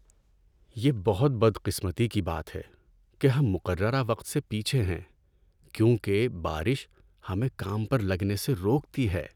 یہ بہت بدقسمتی کی بات ہے کہ ہم مقررہ وقت سے پیچھے ہیں کیونکہ بارش ہمیں کام پر لگنے سے روکتی ہے۔